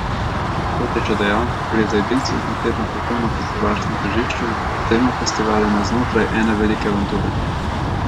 Kot je še dejal, gre za edinstven koncept na svetovnem festivalskem tržišču, z dvema festivaloma znotraj ene velike avanture.